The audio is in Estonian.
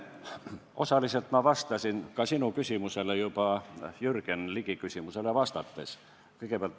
Osaliselt ma vastasin sinu küsimusele juba Jürgen Ligi küsimusele vastates.